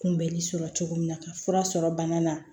Kunbɛli sɔrɔ cogo min na ka fura sɔrɔ bana na